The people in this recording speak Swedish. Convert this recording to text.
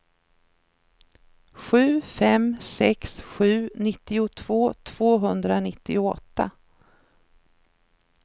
sju fem sex sju nittiotvå tvåhundranittioåtta